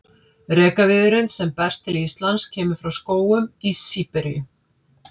Rekaviðurinn sem berst til Íslands kemur frá skógum Síberíu.